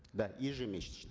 да ежемесячно